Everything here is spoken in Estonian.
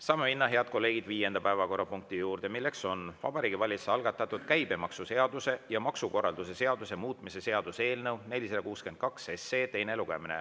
Saame minna, head kolleegid, viienda päevakorrapunkti juurde: Vabariigi Valitsuse algatatud käibemaksuseaduse ja maksukorralduse seaduse muutmise seaduse eelnõu 462 teine lugemine.